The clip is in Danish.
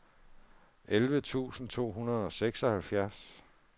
elleve tusind to hundrede og seksoghalvfjerds